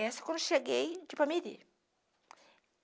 Essa quando cheguei de Ipameri